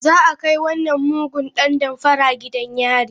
Za a kai wannan mugun dan damfara gidan yari.